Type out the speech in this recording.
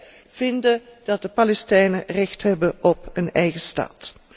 Ook wij vinden dat de Palestijnen recht hebben op een eigen staat.